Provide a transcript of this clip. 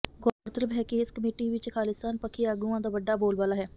ਗੌਰਤਲਬ ਹੈ ਕਿ ਇਸ ਕਮੇਟੀ ਵਿਚ ਖ਼ਾਲਿਸਤਾਨ ਪੱਖੀ ਆਗੂਆਂ ਦਾ ਵੱਡਾ ਬੋਲਬਾਲਾ ਹੈ